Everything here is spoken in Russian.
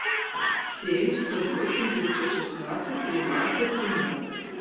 семь сто восемь девятьсот шестнадцать тринадцать семнадцать